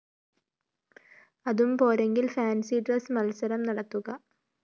അതും പോരെങ്കില്‍ fancy dress മത്സരം നടത്തുക